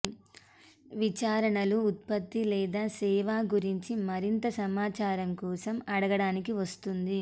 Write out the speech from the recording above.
విచారణలు ఉత్పత్తి లేదా సేవ గురించి మరింత సమాచారం కోసం అడగడానికి వస్తుంది